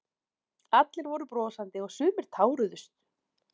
Allir voru brosandi og sumir táruðust